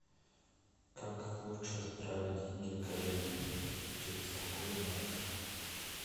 как лучше отправить деньги коллеге через какой банк